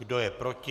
Kdo je proti?